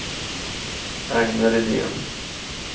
Agne Rydén